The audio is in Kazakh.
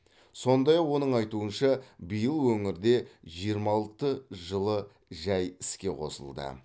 сондай ақ оның айтуынша биыл өңірде жиырма алты жылыжай іске қосылды